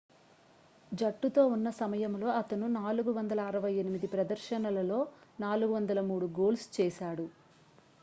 జట్టుతో ఉన్న సమయంలో అతను 468 ప్రదర్శనలలో 403 గోల్స్ చేశాడు